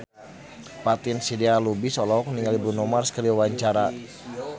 Fatin Shidqia Lubis olohok ningali Bruno Mars keur diwawancara